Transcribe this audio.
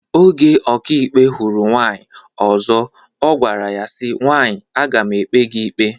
Oge ọkàikpe hụrụ nwaanyị ọzọ ọ gwara ya si, nwaanyị aga m ekpe gị ikpe